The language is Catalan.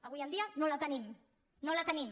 avui en dia no la tenim no la tenim